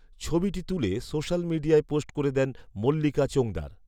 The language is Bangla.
ছবিটি তুলে সোশ্যাল মিডিয়ায় পোস্ট করে দেন মল্লিকা চোঙদার